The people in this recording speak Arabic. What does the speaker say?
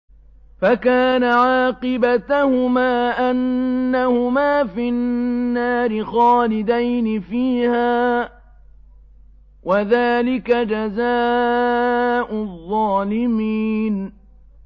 فَكَانَ عَاقِبَتَهُمَا أَنَّهُمَا فِي النَّارِ خَالِدَيْنِ فِيهَا ۚ وَذَٰلِكَ جَزَاءُ الظَّالِمِينَ